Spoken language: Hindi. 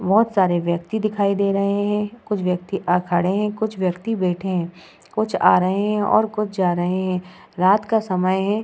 बोहोत सारे व्यक्ति दिखाई दे रहा है। कुछ व्यकित खड़े है कुछ व्यकित बैठे हैं कुछ आ रहे है और कुछ जा रहे है। रात का समय है।